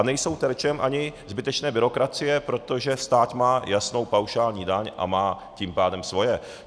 A nejsou terčem ani zbytečné byrokracie, protože stát má jasnou paušální daň a má tím pádem svoje.